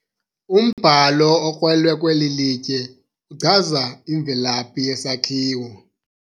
Umbhalo okrolwe kweli litye uchaza imvelaphi yesakhiwo.